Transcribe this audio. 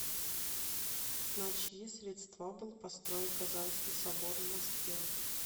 на чьи средства был построен казанский собор в москве